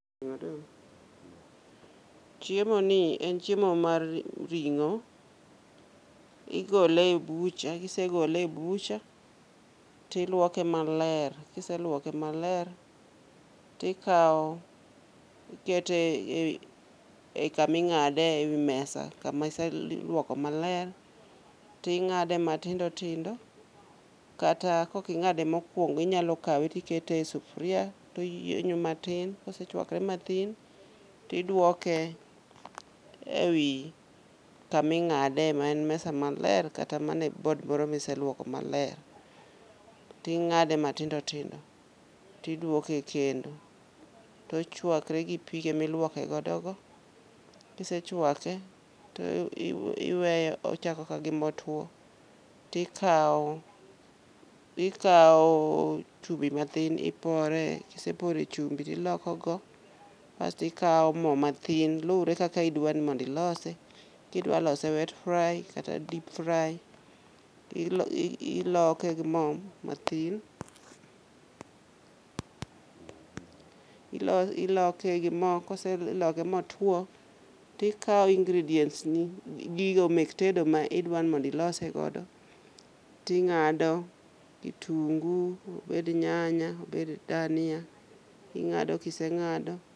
Chiemo ni en chiemo mar ring'o, igole e bucha, kisegole e bucha tilwoke maler. Kiselwoke maler, tikawo ikete e i kami ng'ade ewi mesa kamiselwoko maler, ting'ade matindo tindo. Kata koking'ade mokwongo inyalo kawe tikete e sufria toyienyo matin. Kosechwakre mathin, tidwoke ewi kaming'ade maen mesa maler kata mana e bod moro miseluoko maler, ting'ade matindo tindo, tidwoke e kendo. Tochwakre gi pige milwoke godo go, kisechwake to iweye ochako ka gimotwo. Tikawo, ikawo chumbi mathin ipore, kisepore chumbi tilokogo. Kasto ikawo mo mathin, lure kaka idwa ni mondo ilose. Kidwa lose wet fry kata deep fry, ti iloke gi mo mathin. Iloke gi mo, kiseloke motwo, tikao ingredients ni, gigo mek tedo ma idwa ni mondo ilose godo. Ti ng'ado, obed kitungu obed dania, ing'ado kiseng'ado.